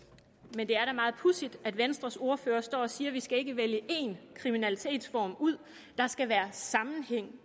men det er da meget pudsigt at venstres ordfører står og siger at vi ikke skal vælge en kriminalitetsform ud at der skal være sammenhæng